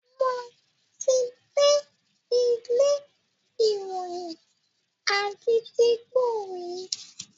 Mo ti dé ilé ìròyìn Àgídìgbo rí.